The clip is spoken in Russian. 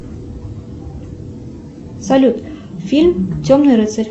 салют фильм темный рыцарь